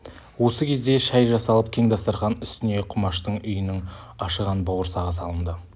осы кезде шай жасалып кең дастарқан үстіне құмаштың үйінің ашыған бауырсағы салынды